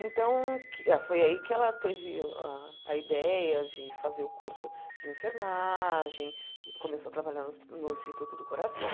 Então que foi aí que ela teve a ideia de fazer o curso de enfermagem, começou a trabalhar no hos no Instituto do Coração,